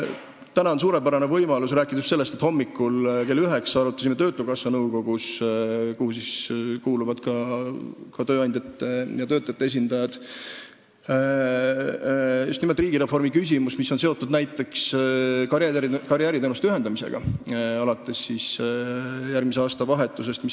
Täna on suurepärane võimalus rääkida sellest, et hommikul kell 9 arutasime töötukassa nõukogus, kuhu kuuluvad ka tööandjate ja töötajate esindajad, just nimelt riigireformi küsimust, mis on näiteks seotud karjääriteenuste ühendamisega alates järgmise aasta vahetusest.